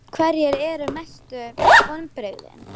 Hverjir eru mestu vonbrigðin?